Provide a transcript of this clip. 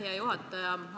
Hea juhataja!